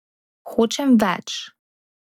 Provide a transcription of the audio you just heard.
Hočem več.